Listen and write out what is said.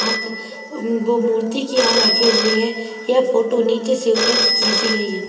मूर्ति क्या रखे हुए है यह फोटो नीचे से ऊपर की खींची गई है।